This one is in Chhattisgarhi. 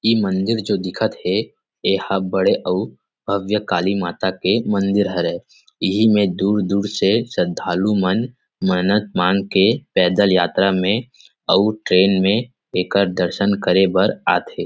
इ मंदिर जो दिखत हे एहा बड़े अउ भव्य काली माता के मंदिर हरे इहि में दूर_दूर से श्रद्धालु मन मन्नत मांग के पैदल यात्रा में अउ ट्रैन में एकर दरसन करे बार आथे ।